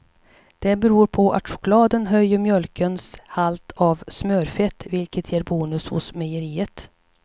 Det beror på att chokladen höjer mjölkens halt av smörfett, vilket ger bonus hos mejeriet.